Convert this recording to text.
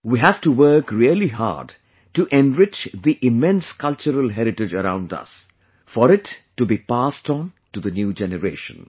We have to work really hard to enrich the immense cultural heritage around us, for it to be passed on tothe new generation